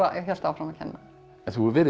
ég hélt áfram að kenna en þú hefur verið